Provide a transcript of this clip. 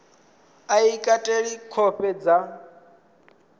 a i kateli khovhe dza